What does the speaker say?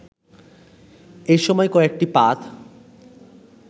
এসময় কয়েকটি পাত